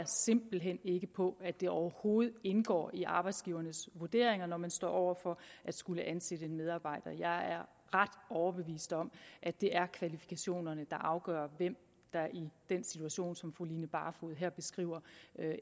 simpelt hen ikke på at det overhovedet indgår i arbejdsgivernes vurderinger når man står over for at skulle ansætte en medarbejder jeg er ret overbevist om at det er kvalifikationerne der afgør hvem der i den situation som fru line barfod her beskriver